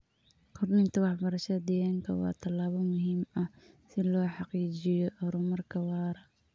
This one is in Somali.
Kordhinta waxbarashada deegaanka waa tallaabo muhiim ah si loo xaqiijiyo horumarka waara.